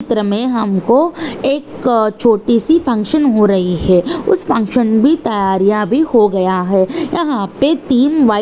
चित्र मे हमको एक छोटी सी फंक्शन हो रही है उस फंक्शन भी तैयारियां भी हो गया है यहाँ पे तीन वाइट --